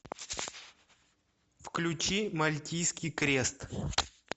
включи мальтийский крест